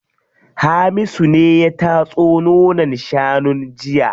Hamisu ne ya tatso nonon shanun jiya.